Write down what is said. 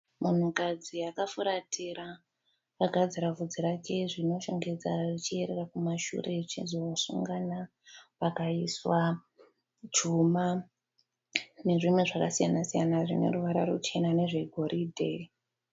Munhukadzi akafuratira akagadzira vhudzi rake zvine kushongedza richierera richienda kumashure richizonosungana. Pakaiswa chuma nezvimwe zvakasiyana siyana zvine ruvara ruchena nezvegoridhe.